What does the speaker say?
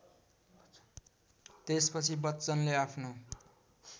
त्यसपछि बच्चनले आफ्नो